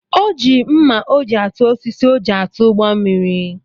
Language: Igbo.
O ji mma o ji atụ osisi o ji atụ ụgbọ mmiri